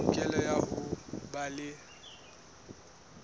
tokelo ya ho ba le